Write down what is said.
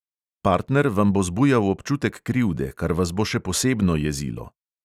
Partner vam bo zbujal občutek krivde, kar vas bo še posebno jezilo.